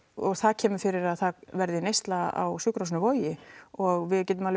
og það kemur fyrir að það verði neysla á sjúkrahúsinu Vogi og við getum